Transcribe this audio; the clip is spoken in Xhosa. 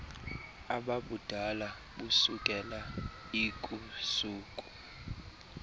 ababudala busukela lkusuku